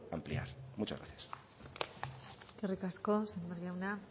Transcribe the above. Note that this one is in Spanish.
ampliar muchas gracias eskerrik asko sémper jauna